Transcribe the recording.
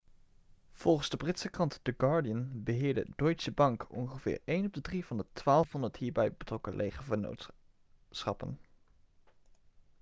volgens de britse krant the guardian beheerde deutsche bank ongeveer een op de drie van de 1200 hierbij betrokken lege vennootschappen